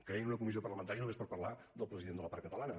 creïn una comissió parlamentària només per parlar del president de la part catalana